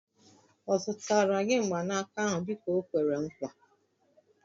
Ọ zụtara gị mgbanaka ahụ dịka o kwere nkwa?